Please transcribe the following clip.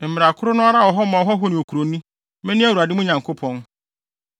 Mmara koro no ara wɔ hɔ ma ɔhɔho ne kuroni. Mene Awurade, mo Nyankopɔn.’ ”